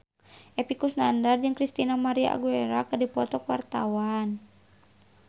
Epy Kusnandar jeung Christina María Aguilera keur dipoto ku wartawan